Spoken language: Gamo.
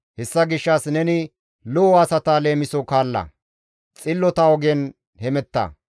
Hessa gishshas neni lo7o asata leemiso kaalla; xillota ogen hemetta.